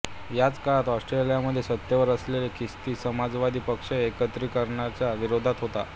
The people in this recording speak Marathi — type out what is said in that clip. ह्याच काळात ऑस्ट्रियामध्ये सत्तेवर असलेला ख्रिस्ती समाजवादी पक्ष एकत्रीकरणाच्या विरोधात होता